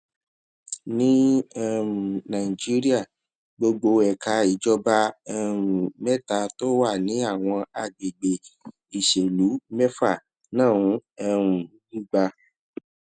ní um nàìjíríà gbogbo ẹka ìjọba um méta tó wà ní àwọn àgbègbè ìṣèlú mẹfà náà um ń gba